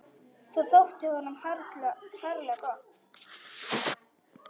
Það þótti honum harla gott.